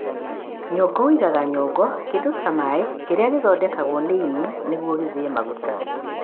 nyongo ũigaga nyongo, kĩndũ ta maĩ kĩrĩa gĩthondekagwo nĩ ĩni nĩguo gĩthĩe maguta.